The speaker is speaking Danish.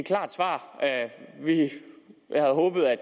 et klart svar jeg havde håbet at